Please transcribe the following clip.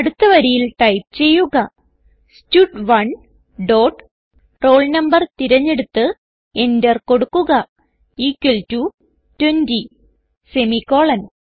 അടുത്ത വരിയിൽ ടൈപ്പ് ചെയ്യുക സ്റ്റഡ്1 ഡോട്ട് roll no തിരഞ്ഞെടുത്ത് enter കൊടുക്കുക ഇക്വൽ ടോ 20 സെമിക്കോളൻ